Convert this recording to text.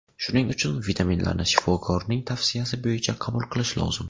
Shuning uchun vitaminlarni shifokorning tavsiyasi bo‘yicha qabul qilish lozim.